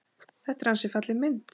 Þetta er ansi falleg mynd.